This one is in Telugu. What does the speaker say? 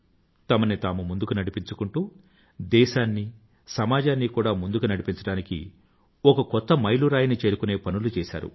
తమని తాము ముందుకు నడిపించుకుంటూ దేశాన్నీ సమాజాన్నీ కూడా ముందుకు నడిపించడానికీ ఒక కొత్త మైలురాయిని చేరుకుని పనులు చేసారు